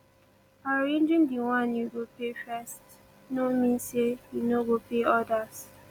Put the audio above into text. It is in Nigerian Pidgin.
arranging the one yu go pay first no mean say yu no go pay odas